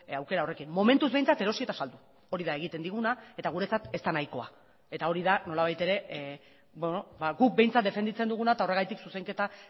aukera horrekin momentuz behintzat erosi eta saldu hori da egiten diguna eta guretzat ez da nahikoa eta hori da nolabait ere guk behintzat defenditzen duguna eta horregatik zuzenketa